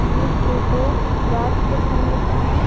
ये फोटो रात के समय का है।